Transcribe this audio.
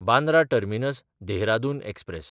Bandra टर्मिनस–देहरादून express